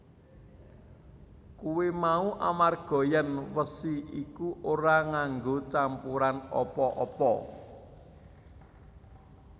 Kuwi mau amarga yèn wesi iku ora nganggo campuran apa apa